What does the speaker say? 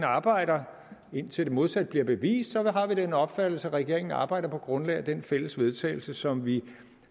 arbejder indtil det modsatte bliver bevist har vi den opfattelse at regeringen arbejder på grundlag af den fælles vedtagelse som vi